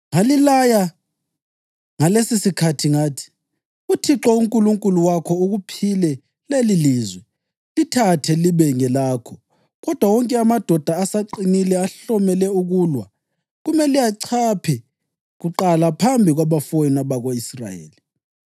Ngalilaya ngalesosikhathi ngathi: ‘ UThixo uNkulunkulu wakho ukuphile lelilizwe, lithathe libe ngelakho. Kodwa wonke amadoda asaqinile, ahlomele ukulwa, kumele achaphe kuqala phambi kwabafowenu abako-Israyeli.